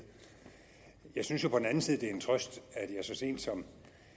jeg synes på den anden side at det er en trøst at jeg så sent som